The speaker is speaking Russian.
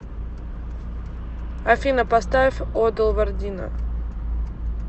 афина поставь одал вардина